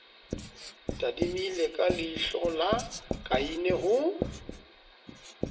tadimile ka leihlola kaine ho